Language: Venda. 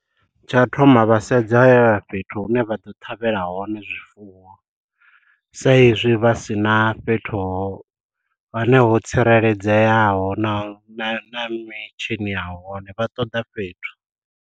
Tsha u thoma vha sedza fhethu hune vha ḓo ṱhavhela hone zwifuwo, sa izwi vha si na fhethu ho hone ho tsireledzeaho na na mitshini ya hone vha ṱoḓa fhethu.